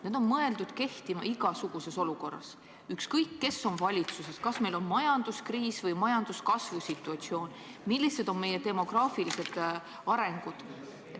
Need on mõeldud kehtima igasuguses olukorras, ükskõik kes on valitsuses, kas meil on majanduskriis või majanduskasvu situatsioon, milline on demograafiline areng.